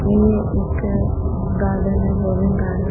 ये एक गार्डन है जॉगिंग गार्डन --